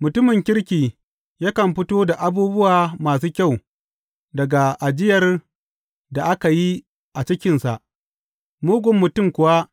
Mutumin kirki yakan fito da abubuwa masu kyau daga ajiyar da aka a yi cikinsa, mugun mutum kuwa